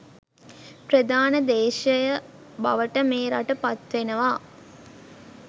ප්‍රධාන දේශය බවට මේ රට පත් වෙනවා